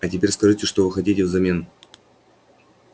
а теперь скажите что вы хотите взамен